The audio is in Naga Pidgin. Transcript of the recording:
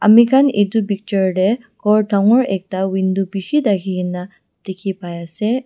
ami khan itu picture te ghor dangor ekta window bishi thaki kena dikhi pai ase.